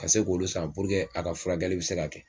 Ka se k'olu, san puruke a ka furakɛli be se ka kɛ